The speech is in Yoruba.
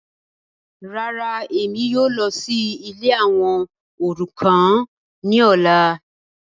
Ràrà, Emi yóò lọ si ìlé awọn orukan ni ọla